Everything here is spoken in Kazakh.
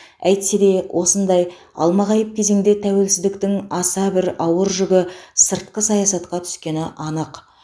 әйтсе де осындай алмағайып кезеңде тәуелсіздіктің аса бір ауыр жүгі сыртқы саясатқа түскені анық